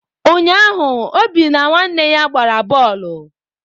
Ụnyaahụ Obi na ụmụnne ya gbara boolu.